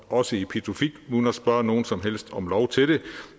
også i pituffik uden at spørge nogen som helst om lov til det